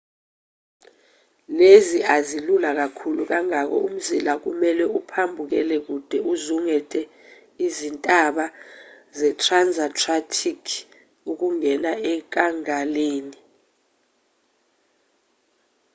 lezi azilula kakhulu ngakho umzila kumelwe uphambukele kude uzungeze izintaba zetransantarctic ukungena enkangaleni